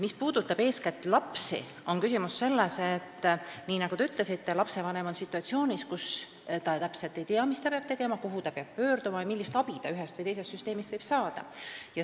Mis puudutab lapsi, siis eeskätt on küsimus selles, nii nagu te ütlesite, et lapsevanem on situatsioonis, kus ta täpselt ei tea, mis ta peab tegema, kuhu ta peab pöörduma ja millist abi ta ühest või teisest süsteemist võib saada.